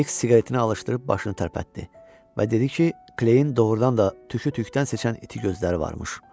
X siqaretini alışdırıb başını tərpətdi və dedi ki, Kleyn doğrudan da tükü tükdən seçən iti gözləri varmış.